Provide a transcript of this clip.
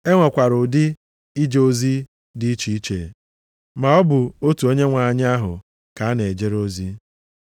E nwekwara ụdị ije ozi dị iche iche, maọbụ otu Onyenwe anyị ahụ ka a na-ejere ozi.